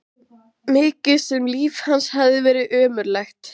Mikið sem líf hans hafði verið ömurlegt.